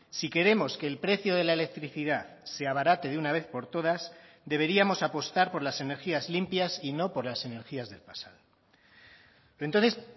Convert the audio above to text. si queremos que el precio de la electricidad se abarate de una vez por todas deberíamos apostar por las energías limpias y no por las energías del pasado entonces